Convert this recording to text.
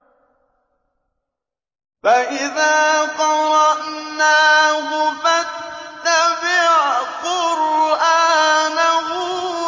فَإِذَا قَرَأْنَاهُ فَاتَّبِعْ قُرْآنَهُ